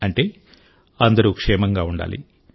అంటే అందరూ క్షేమంగా ఉండాలి